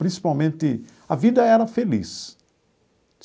Principalmente, a vida era feliz.